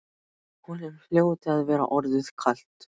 Honum hljóti að vera orðið kalt.